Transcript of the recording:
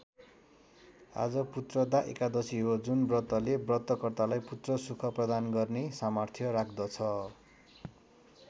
आज पुत्रदा एकादशी हो जुन व्रतले व्रतकर्तालाई पुत्रसुख प्रदान गर्ने सामर्थ्य राख्दछ।